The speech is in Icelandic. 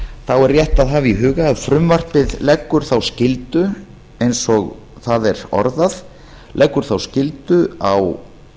er rétt að hafa í huga að frumvarpið leggur þá skyldu eins og það er orðað leggur þá skyldu á